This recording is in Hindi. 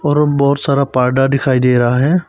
और बहुत सारा पर्दा दिखाई दे रहा है।